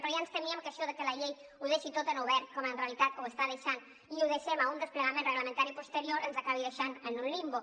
però ja ens temíem que això de que la llei ho deixi tot en obert com en realitat ho està deixant i ho deixem a un desplegament reglamentari posterior ens acabi deixant en un limbo